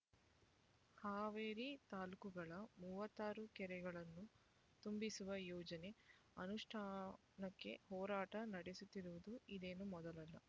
ಹಾವೇರಿ ತಾಲ್ಲೂಕುಗಳ ಮೂವತ್ತಾರು ಕೆರೆಗಳನ್ನು ತುಂಬಿಸುವ ಯೋಜನೆ ಅನುಷ್ಟಾನಕ್ಕೆ ಹೋರಾಟ ನಡೆಸುತ್ತಿರುವುದು ಇದೇನು ಮೊದಲಲ್ಲ